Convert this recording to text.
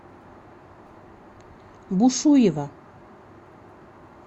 бушуева